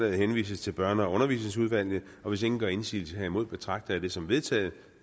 henvises til børne og undervisningsudvalget og hvis ingen gør indsigelse herimod betragter jeg dette som vedtaget